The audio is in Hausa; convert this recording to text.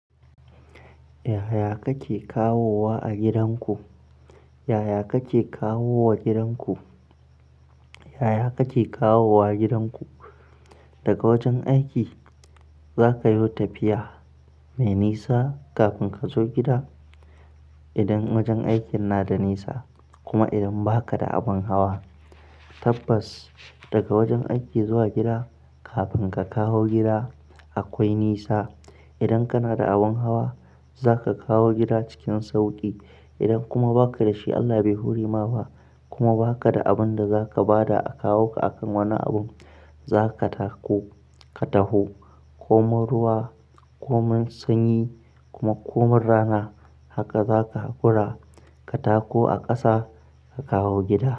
Yaya kake kawowa a gidanku? Yaya kake kawowa a gidanku? Yaya kake kawowa gidanku? Daga wajen aiki za kayo tafiya mai nisa kafin ka zo gida. Idan wajen aikin na da nisa kuma idan ba ka da abin hawa, tabbas daga wajen aiki zuwa gida kafin ka kawo gida akwai nisa. Idan kana da abin hawa za ka kawo gida cikin sauƙi. Idan kuma ba ka da shi, Allah bai hurema ba kuma ba ka da abin da za ka ba da a kawo ka akan wani abin, za ka tako ka taho. Komin ruwa, komin sanyi kuma komin rana. Haka za ka haƙura ka tako a ƙasa ka kawo gida.